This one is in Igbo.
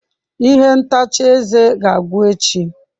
Ihe ntacha eze ga-agwụ echi.